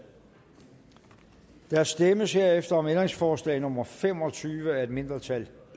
der stemmes herefter om ændringsforslag nummer fem og tyve af et mindretal